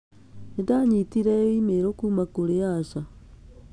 Nĩ ndanyitire e-mail kuuma kũrĩ Asha